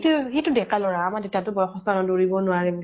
সি সি তো ডেকা লʼৰা । আমাৰ দেউতা তো বয়স্ত মানুহ, দৌৰিব নোৱাৰে